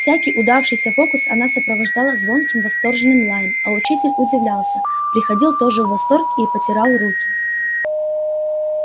всякий удавшийся фокус она сопровождала звонким восторженным лаем а учитель удивлялся приходил тоже в восторг и потирал руки